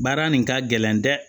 Baara nin ka gɛlɛn dɛ